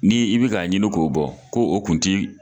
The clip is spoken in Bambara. Ni i bi ka ɲini k'o bɔ ko o kun ti